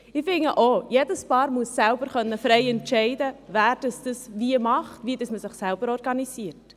Ich finde auch, dass jedes Paar frei entscheiden können muss, wer es wie macht und wie man sich organisiert.